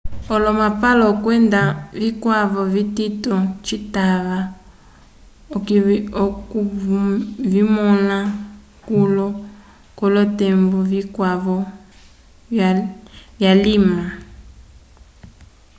olomapalo kwenda vikwavo vitito citava okuvimõla kulo k'olotembo vikwavo vyulima